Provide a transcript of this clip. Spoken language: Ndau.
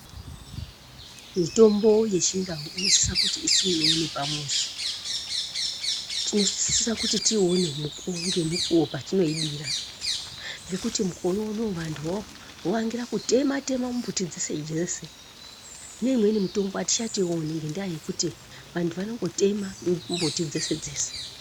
Mitombo yechiNdau inosisa kuti isimirwewo nepamuzi tinosisa kuti tiine ngemukuwo patinoidira ngekuti mukore unowo vandu vakuyangira kuyema tema mbuti dzese dzese ne imweni mitombo hatichatoiwoni ngendaa yekuti vandu vanongotema mbuti dzese dzese.